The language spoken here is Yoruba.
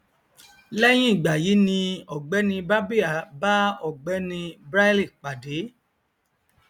lẹhìn ìgbà yí ni ọgbẹni barbier bá ọgbẹni braille pàdé